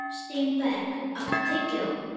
Steinberg, áttu tyggjó?